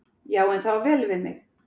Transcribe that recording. Já, en það á vel við mig.